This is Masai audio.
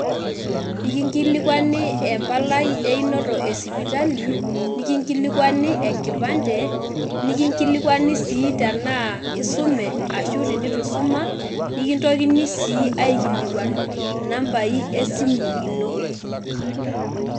Ikingilikuani empalai einoto esipitali nikingilikuani enkipande nikingilikuani sii tenaa isume ashu tenitu isuma nikintokini sii aikilikuan nambai esimu ino.